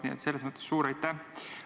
Nii et selles mõttes suur aitäh!